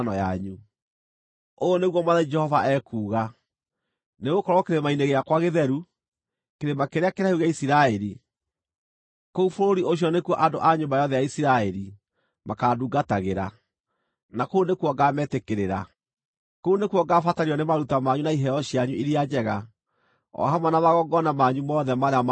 Ũũ nĩguo Mwathani Jehova ekuuga: Nĩgũkorwo kĩrĩma-inĩ gĩakwa gĩtheru, kĩrĩma kĩrĩa kĩraihu gĩa Isiraeli, kũu bũrũri ũcio nĩkuo andũ a nyũmba yothe ya Isiraeli makaandungatagĩra, na kũu nĩkuo ngaametĩkĩrĩra. Kũu nĩkuo ngaabatario nĩ maruta manyu na iheo cianyu iria njega, o hamwe na magongona manyu mothe marĩa maamũre.